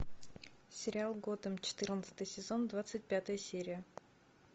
сериал готэм четырнадцатый сезон двадцать пятая серия